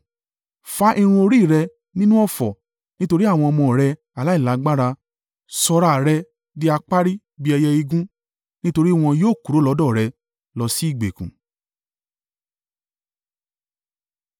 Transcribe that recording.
Fá irun orí rẹ nínú ọ̀fọ̀ nítorí àwọn ọmọ rẹ aláìlágbára, sọ ra rẹ̀ di apárí bí ẹyẹ igún, nítorí wọn yóò kúrò lọ́dọ̀ rẹ lọ sí ìgbèkùn.